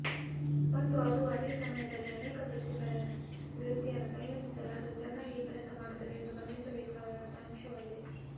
ಮತ್ತು ಅದು ಅದೇ ಸಮಯದಲ್ಲಿ ಅನೇಕ ವೃತ್ತಿಯನ್ನು ಸಂಯೋಜಿಸಲು ಅದು ಚೆನ್ನಾಗಿ ಕೆಲಸ ಮಾಡುತ್ತದೆ ಎಂದು ಗಮನಿಸಬೇಕಾದ ಅಂಶವಾಗಿದೆ